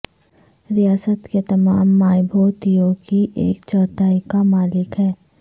ریاست کے تمام مائبھوتیوں کی ایک چوتھائی کا مالک ہے